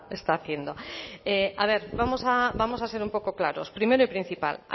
está haciendo a ver vamos a ser un poco claros primero y principal